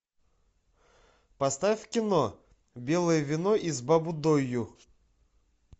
поставь кино белое вино из баббудойу